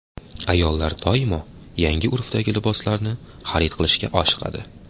Ayollar doimo yangi urfdagi liboslarni xarid qilishga oshiqadi.